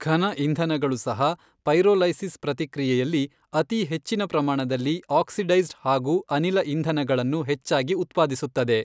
ಘನ ಇಂಧನಗಳು ಸಹ ಪೈರೋಲೈಸಿಸ್ ಪ್ರತಿಕ್ರಿಯೆಯಲ್ಲಿ ಅತೀ ಹೆಚ್ಚಿನ ಪ್ರಮಾಣದಲ್ಲಿ ಆಕ್ಸಿಡೈಸ್ಡ್ ಹಾಗು ಅನಿಲ ಇಂಧನಗಳನ್ನು ಹೆಚ್ಚಾಗಿ ಉತ್ಪಾದಿಸುತ್ತದೆ.